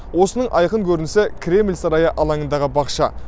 осының айқын көрінісі кремль сарайы алаңындағы бақша